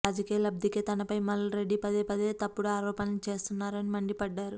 రాజకీయ లబ్ధికే తనపై మల్ రెడ్డి పదే పదే తప్పుడు ఆరోపణలు చేస్తున్నారని మండిపడ్డారు